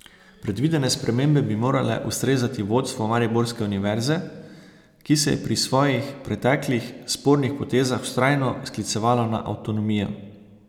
Predvidene spremembe bi morale ustrezati vodstvu mariborske univerze, ki se je pri svojih preteklih spornih potezah vztrajno sklicevalo na avtonomijo.